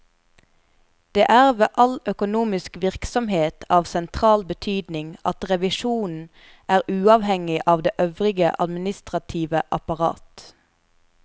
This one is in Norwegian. Det er ved all økonomisk virksomhet av sentral betydning at revisjonen er uavhengig av det øvrige administrative apparat.